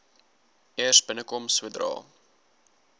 eers binnekom sodra